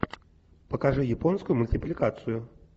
покажи японскую мультипликацию